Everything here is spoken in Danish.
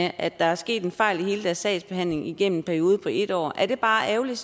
at der er sket en fejl i deres sagsbehandling igennem en periode på en år er det bare ærgerligt